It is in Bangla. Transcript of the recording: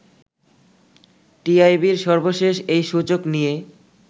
টিআইবির সর্বশেষ এই সূচক নিয়ে